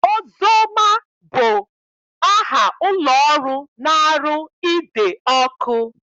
Ozoma bụ aha ụlọọrụ na-arụ ide ọkụ